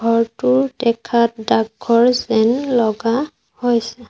ঘৰটোৰ দেখাত ডাকঘৰ যেন লগা হৈছে।